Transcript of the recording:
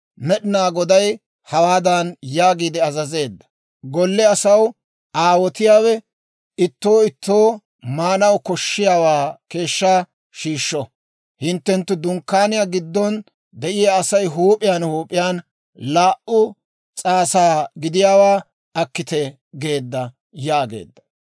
Med'inaa Goday hawaadan yaagiide azazeedda; ‹Golle asaw aawotiyaawe, ittoo ittoo maanaw koshshiyaawaa keeshshaa shiishsho; hinttenttu dunkkaaniyaa giddon de'iyaa Asay huup'iyaan huup'iyaan laa"u s'aasa gidiyaawaa akkite› geedda» yaageedda.